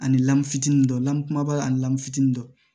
Ani lamini fitini dɔ la kumaba ani lamu fitinin dɔ